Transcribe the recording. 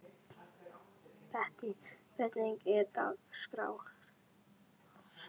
Bettý, hvernig er dagskráin?